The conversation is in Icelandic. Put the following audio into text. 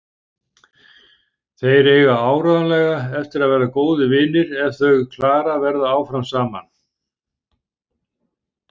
Þeir eiga áreiðanlega eftir að verða góðir vinir ef þau Klara verða áfram saman.